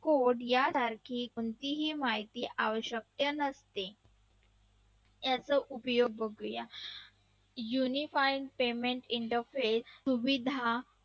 कोड्यासारखी माहिती आवश्यकता नसते याचा उपयोग बघूया uniform payment interface सुविधा